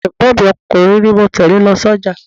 Ọmọ ẹ̀gbọ́n mi ọkùnrin ni ó tẹle mi lọ sójà.